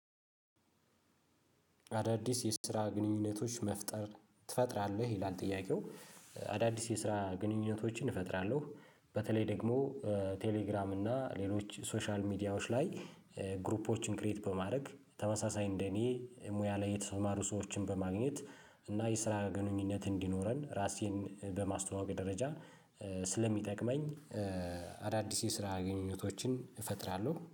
አዳዲስ የስራ ግንኙነቶች መፍጠር ትፈጥራለህ ይላል ጥያቄው? አዳዲስ የስራ ግንኙነቶችን እፈጥራለሁ በተለይ ደግሞ ቴሌግራም እና ሌሎች ሶሻል ሚዲያዎች ላይ ግሩፖችን ክሬት በማድረግ ተመሳሳይ እንደኔ ሙያ ላይ የተሰማሩ ሰዎችን በማግኘት እና የስራ ግንኙነት እንዲኖረን ራሴን በማስተዋወቅ ደረጃ ስለሚጠቅመኝ። አዳዲስ የስራ ግንኙነቶችን እፈጥራለሁ